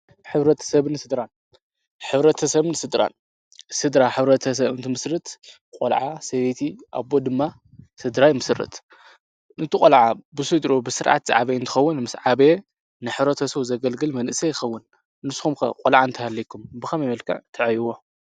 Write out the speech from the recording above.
ኅብረት ሰብኒ ሥድራ ኅብረ ተ ሰብኒ ሥድራን ሥድራ ኅብረ ተ ሰብንቲ ምስርት ቈልዓ ፣ሰቤቲ ፣ኣቦ፣ ድማ ሥድራ ኣይምስርት ንቲ ቈልዓ ብሱይድሮ ብሥርዓት ዝዓበይእንቲኸውን ምስ ዓበየ ንኅረተ ሰው ዘገልግል መንእሰ ይኸውን ንስኹም ቈልዓ እንተሃለይኩም ብኸም የመልካዕ ተዕይዎ?